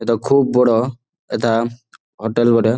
এটা খুব বড়ো-ও এটা হোটেল বটে--